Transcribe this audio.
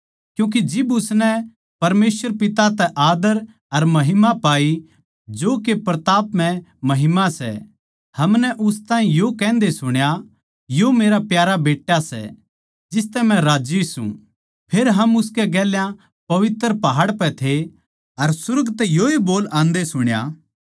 क्यूँके जिब उसनै परमेसवर पिता तै आद्दर अर महिमा पाई जो के प्रतापमय महिमा सै हमनै उस ताहीं यो कहन्दे सुणा यो मेरा प्यारा बेट्टा सै जिसतै मै राज्जी सूं फेर हम उसकै गेल्या पवित्र पहाड़ पै थे अर सुर्ग तै योए बोल आंदे सुण्या